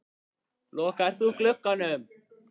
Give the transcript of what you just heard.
Lokaðir þú glugganum?